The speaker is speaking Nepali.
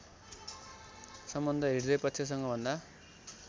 सम्बन्ध हृदयपक्षसँग भन्दा